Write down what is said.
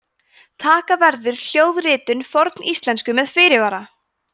taka verður hljóðritun forníslensku með fyrirvara!